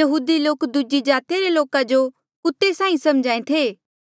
यहूदी लोक दूजी जातिया रे लोका जो कुत्ते साहीं समझ्हा ऐें थे